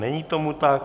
Není tomu tak.